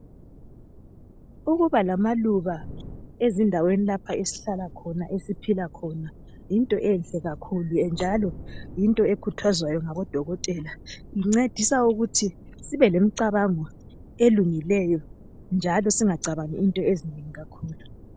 Ukuba lamaluba ezindaweni lapha esihlahla khona esiphila khona yinto enhle kakhulu njalo yinto ekhuthwazwayo ngabodokotela incedisa ukuthi sibe lemicabango elungileyo njalo singacabangi into ezinengi kakhulu